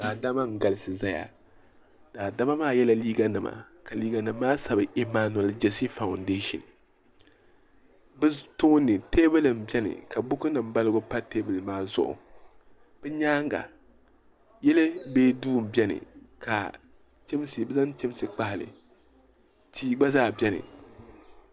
daadama n galisi zaya daadama maa yela liiga nima ka liiga nima maa sabi yimaanuli jeesi fondaashin bɛ tooni teebuli beni ka bukunima balibu pa teebuli maa zuɣu bɛ nyaaga yili mini duu n-beni ka bɛ zaŋ chamsi n-kpahi li tia gba zaa beni.